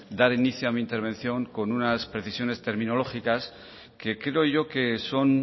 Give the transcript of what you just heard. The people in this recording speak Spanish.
dar inicio a mi intervención con unas precisiones terminológicas que creo yo que son